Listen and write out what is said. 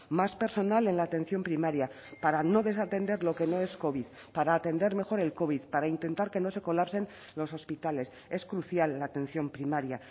más personal en la atención primaria para no desatender lo que no es covid para atender mejor el covid para intentar que no se colapsen los hospitales es crucial la atención primaria